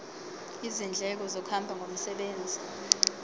izindleko zokuhamba ngomsebenzi